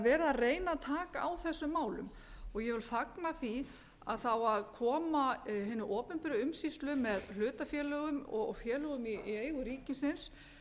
að taka á þessum málum ég vil fagna því að það á að koma hinni opinberu umsýslu með hlutafélögum og félögum í eigu ríkisins